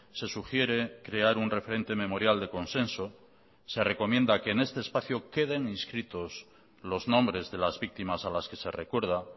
se sugiere crear un referente memorial de consenso se recomienda que en este espacio queden inscritos los nombres de las víctimas a las que se recuerda